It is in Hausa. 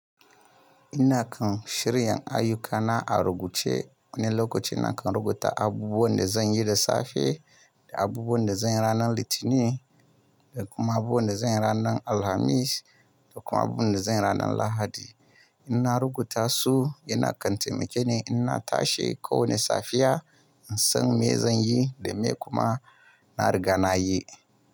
Ina kan shirya ayyukana a rubuce. Wani lokaci na kan rubuta abubuwan da zan yi da safe, da abubuwan da zan yi ranar Litinin, da kuma abubuwan da zan yi ranar Alhamis, da kuma abubuwan da zan yi ranar Lahadi. Ina rubuta su, yana kantimake ni. Ina tashi kowane safiya, in san me zan yi da me kuma na riga na yi.